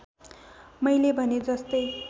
मैले भने जस्तै